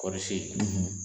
Kɔɔri si